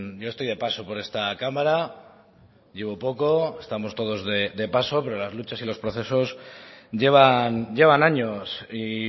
yo estoy de paso por esta cámara llevo poco estamos todos de paso pero las luchas y los procesos llevan años y